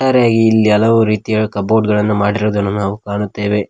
ರೇ ಇಲ್ಲಿ ಹಲವು ರೀತಿಯ ಕಬೋರ್ಡ್ ಗಳನ್ನು ಮಾಡಿರುದನ್ನು ನಾವು ಕಾಣುತ್ತೆವೆ.